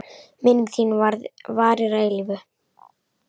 Minning þín varir að eilífu.